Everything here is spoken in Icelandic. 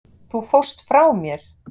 Þú fórst frá mér.